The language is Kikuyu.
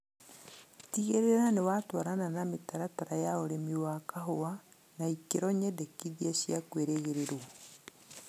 Tĩgĩrĩra nĩwatwarana na mĩtaratara ya ũrĩmi wa kahũa na ikĩro nyendekithie cia kwĩrĩgĩrĩrwo